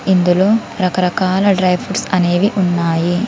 ఇందులో రకరకాల dry fruits అనేవి ఉన్నాయి.